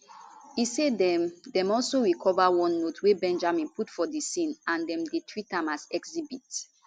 e say dem dem also recover one note wey benjamin put for di scene and dem dey treat am as exhibit